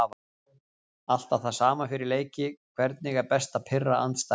Alltaf það sama fyrir leiki Hvernig er best að pirra andstæðinginn?